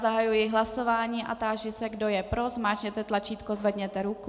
Zahajuji hlasování a táži se, kdo je pro, zmáčkněte tlačítko, zvedněte ruku.